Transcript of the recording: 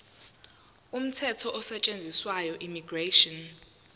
umthetho osetshenziswayo immigration